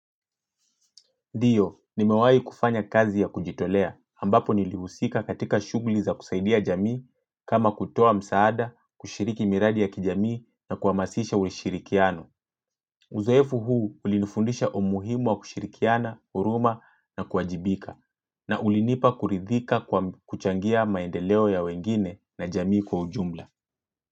Ndio, nimewahi kufanya kazi ya kujitolea, ambapo nilihusika katika shughuli za kusaidia jamii, kama kutoa msaada, kushiriki miradi ya kijamii na kuhamasisha ushirikiano. Uzoefu huu ulinifundisha umuhimu wa kushirikiana, huruma na kuajibika, na ulinipa kuridhika kwa kuchangia maendeleo ya wengine na jamii kwa ujumla.